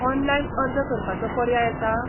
Online अर्ज करपाचो पर्याय आसा?